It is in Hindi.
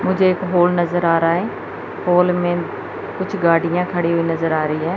मुझे एक हॉल नजर आ रहा है हॉल में कुछ गाड़ियां खड़ी हुई नजर आ रही है।